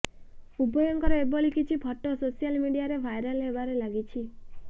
ଉଭୟଙ୍କର ଏଭଳି କିଛି ଫଟୋ ସୋସିଆଲ ମିଡିଆରେ ଭାଇରାଲ ହେବାରେ ଲାଗିଛି